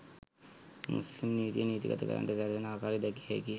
මුස්ලිම්නීතිය නීතිගත කරන්නට සැරසෙන ආකාරය දැකිය හැකිය